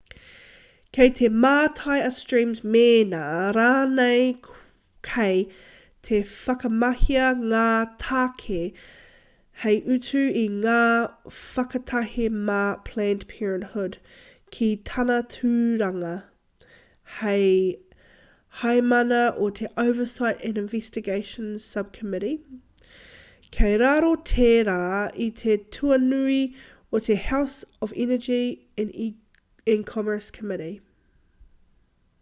kei te mātai a stearns mēnā rānei kei te whakamahia ngā tāke hei utu i ngā whakatahe mā planned parenthood ki tāna tūranga hei heamana o te oversight and investigations subcommittee kei raro tērā i te tuanui o te house energy and commerce committee